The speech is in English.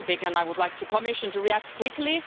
I would like the Commission to react quickly.